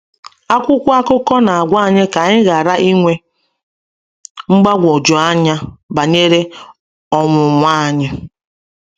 Akwụkwọ akụkọ na-agwa anyị ka anyị ghara inwe mgbagwoju anya banyere ọnwụnwa anyị.